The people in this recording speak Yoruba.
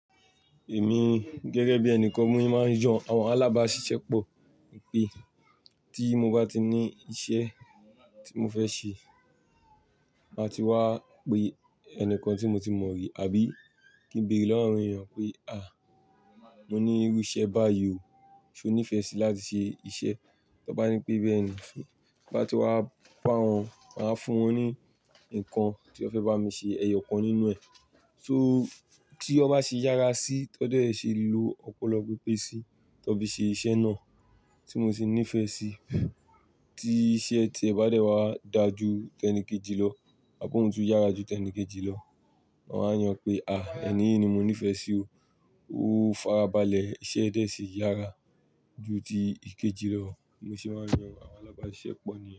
Èmi gẹ́gẹ́ bí ẹni kan mú mi máa ń yan àwọn alábáṣiṣẹ́pọ̀ pé tí mo bá ti ní iṣẹ́ tí mo fẹ́ ṣe, màá ti wá pe ẹni kan tí mo ti mọ rí àbí kí n béèrè lọ́wọ́ àwọn èèyàn pé "à, mo ní irú iṣẹ́ báyìí o, ṣe o nífẹ̀ẹ́ síi láti ṣe iṣẹ́?" Tó bá ní pé bẹ́ẹ̀ ni, bá ti wá pa wọ́n, màá fún wọn ní nǹkan tí ó fẹ́ bá mi ṣe, ẹyọ kan nínú ẹ̀. So tí ó bá ṣe yára síi, ó dọ̀ọ́ ṣe lo ọpọlọ pípé síi tó fi ṣe iṣẹ́ náà tí mo sì ní ìfẹ́ síi. Tí iṣẹ́ tí ẹ bá dẹ̀ wá dáa ju tẹ́níìkejì lọ, àbo òun tún yára ju tẹ́níìkejì lọ, wọ́n á yàn pé "à, ẹni yìí ni mo nífẹ̀ẹ́ sí o. Ó fara balẹ̀, iṣẹ́ rẹ sì yára ju ti ìkejì lọ." Mo sì máa ń yan àwọn alábáṣiṣẹ́pọ̀ nìyẹn.